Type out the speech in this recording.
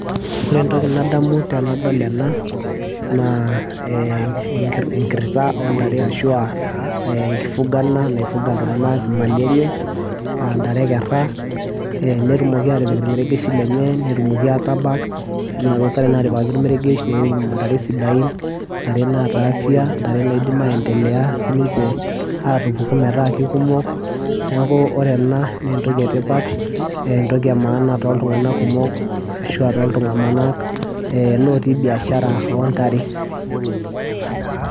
ore entoki nadamu tenadol ena naa eh, enkirrita ontare ashua enkifugana naifuga iltung'anak imali enye antare ekerra eh, netumoki atipik irmeregeshi lenye netumoki atabak yiolo inaduo tare natipikaki ormeregesh neiu intare sidain ntare naata afya ntare naidim aendelea sininche atupuku metaa kikumok neeku ore ena nentoki etipat entoki e maana toltung'anak kumok ashua toltung'anak eh, lotii biashara ontare.